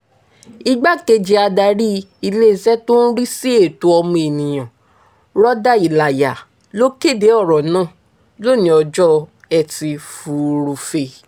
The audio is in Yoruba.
igbákejì adarí iléeṣẹ́ tó ń rí sí ẹ̀tọ́ ọmọnìyàn rọ́dà ìlàyà ló kéde ọ̀rọ̀ náà lónìí ọjọ́ etí furuufee